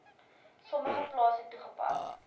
sommige plase toegepas